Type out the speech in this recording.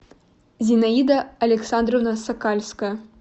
зинаида александровна сокальская